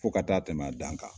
Fo ka taa tɛmɛ a dan kan.